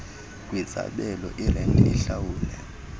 kwizabelo irenti ehlawulwe